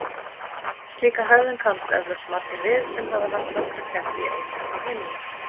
Slíka hegðun kannast eflaust margir við sem hafa haft nokkra ketti í einu á heimilinu.